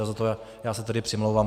A za to já se tedy přimlouvám.